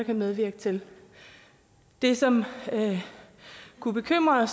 medvirke til det som kunne bekymre